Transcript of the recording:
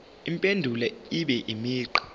impendulo ibe imigqa